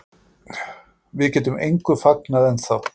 Við getum engu fagnað ennþá